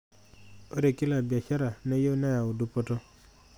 Ore kila biashara neyieu neyau dupoto.